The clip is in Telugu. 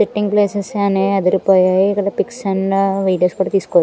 సెట్టింగ్ ప్లేసెస్ అన్ని అదిరిపోయాయి ఇక్కడ పిక్స్ అండ్ వీడియోస్ కూడా తీసుకో--